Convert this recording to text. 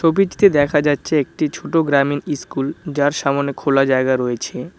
ছবিটিতে দেখা যাচ্ছে একটি ছোট গ্রামীণ ইস্কুল যার সামোনে খোলা জায়গা রয়েছে।